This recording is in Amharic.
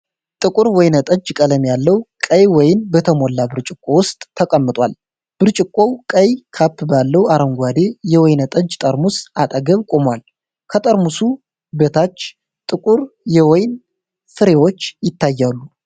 ጥቁር ወይን ጠጅ ቀለም ያለው ቀይ ወይን በተሞላ ብርጭቆ ውስጥ ተቀምጧል። ብርጭቆው ቀይ ካፕ ባለው አረንጓዴ የወይን ጠጅ ጠርሙስ አጠገብ ቆሟል። ከጠርሙሱ በታች ጥቁር የወይን ፍሬዎች ይታያሉ።